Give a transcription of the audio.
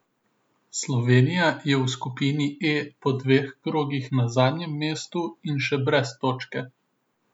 Slovenija je v skupini E po dveh krogih na zadnjem mestu in še brez točke.